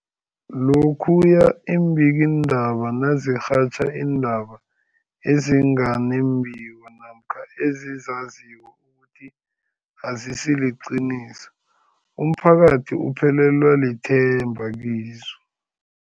Lokhuya iimbikiindaba nazirhatjha iindaba ezinga nembiko namkha ezizaziko ukuthi azisiliqiniso, umphakathi uphelelwa lithemba kizo.